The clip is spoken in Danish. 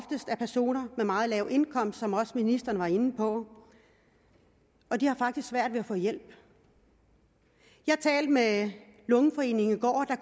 personer med meget lav indkomst som også ministeren var inde på og de har faktisk svært ved at få hjælp jeg talte med lungeforeningen